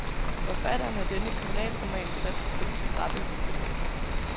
Forfatteren af denne kriminalroman satser på de skrappe effekter.